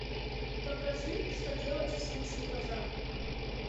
покажи что делать в случае пожара